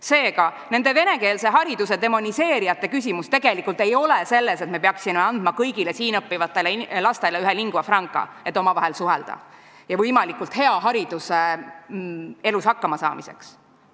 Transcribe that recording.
Seega, nende venekeelse hariduse demoniseerijate küsimus tegelikult ei ole selles, et me peaksime andma kõigile siin õppivatele lastele ühe lingua franca, et omavahel suhelda, ja võimalikult hea hariduse elus hakkamasaamiseks.